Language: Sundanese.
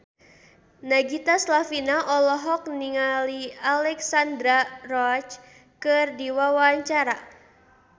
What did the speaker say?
Nagita Slavina olohok ningali Alexandra Roach keur diwawancara